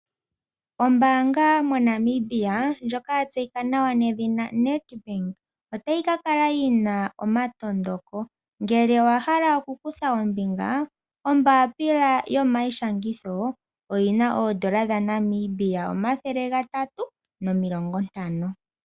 Ombaanga moNamibia ndjoka yatseyika nawa nedhina NEDbank otayi kakala yina omatondoko ,ngele owahala okukutha ombinga ombapila yomayishangitho oyina oondola dhaNamibia omathele gatatu nomilongontano